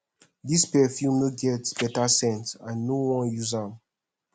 dis perfume no get beta scent i no wan use am